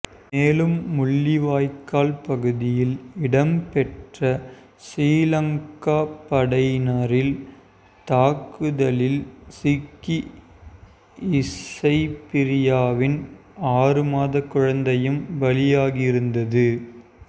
மேலும் முள்ளிவாய்க்கால் பகுதியில் இடம்பெற்ற சிறீலங்கா படையினரின் தாக்குதலில் சிக்கி இசைப்பிரியாவின் ஆறு மாதக் குழந்தையும் பலியாகியிருந்தது